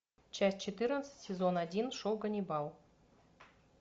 часть четырнадцать сезон один шоу ганнибал